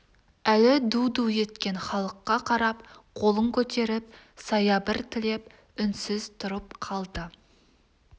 әлі ду-ду еткен халыққа қарап қолын көтеріп саябыр тілеп үнсіз тұрып қалды